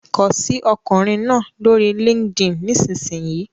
Kọ sí ọkùnrin náà lórí LinkedIn nísinsìnyí!